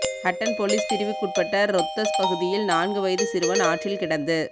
Hatton police பிரிவுக்குட்பட்ட ரொத்தஸ் பகுதியில் நான்கு வயது சிறுவன் ஆற்றில் கிடந்து